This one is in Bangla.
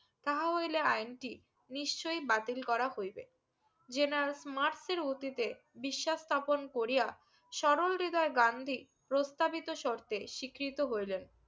তাঁহা হইলে আইনটি নিশ্চয়ই বাতিল করা হইবে যেনাল মার্স এর অতীতে বিশ্বাসস্থাপন করিয়া সরল হৃদয় ব্রান্ধি প্রস্থাবিত সর্তে স্বীকৃতো হইলেন